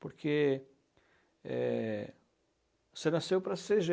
Porque é, você nasceu para ser